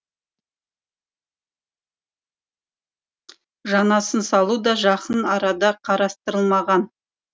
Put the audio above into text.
жаңасын салу да жақын арада қарастырылмаған